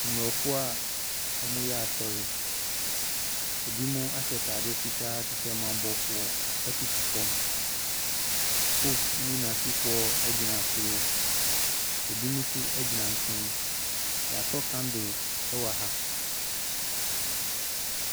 Aborɔfoɔ a wɔreyɛ asɔre, binom ahyɛ ataare fitaa te sɛ ɔman bɔfoɔ koto fam, Pope ne n’asefoɔ gyina soro, binom nso gyina nkyɛn, yɛasɔ candle wɔ ha.